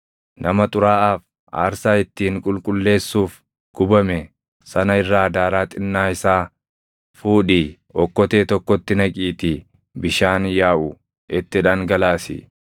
“Nama xuraaʼaaf aarsaa ittiin qulqulleessuuf gubame sana irraa daaraa xinnaa isaa fuudhii okkotee tokkotti naqiitii bishaan yaaʼu itti dhangalaasi.